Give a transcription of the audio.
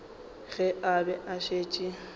ge a be a šetše